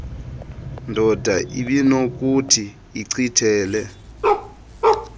ndoda ibinokuthi ichithele